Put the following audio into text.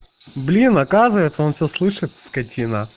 блин оказывается он всё слышит скатина